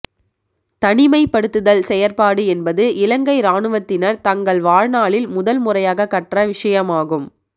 தனிமைப்படுத்தல் செயற்பாடு என்பது இலங்கை இராணுவத்தினர் தங்கள் வாழ் நாளில் முதல் முறையாக கற்ற விடயமாகும்